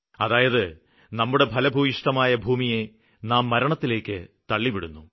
അതായത് നമ്മുടെ ഫലഭൂയിഷ്ഠമായ ഭൂമിയെ നാം മരണത്തിലേക്ക് തള്ളിവിടുന്നു